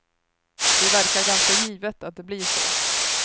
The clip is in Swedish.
Det verkar ganska givet att det blir så.